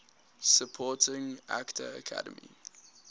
supporting actor academy